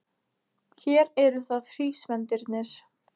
Hér eru það hrísvendirnir.